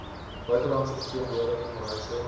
buitelandse verteenwoordiging reise